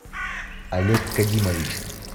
олег кадимович